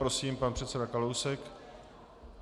Prosím, pan předseda Kalousek.